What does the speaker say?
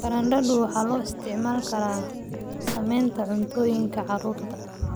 Baradhadu waxaa loo isticmaali karaa sameynta cuntooyinka carruurta.